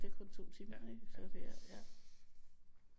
Det er kun 2 timer ikke så ja